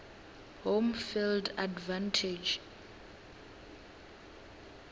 home field advantage